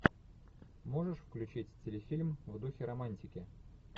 можешь включить телефильм в духе романтики